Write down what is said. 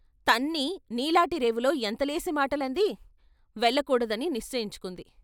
తన్ని నీలాటి రేవులో ఎంతలేసి మాటలంది వెళ్ళకూడదని నిశ్చయించు కుంది.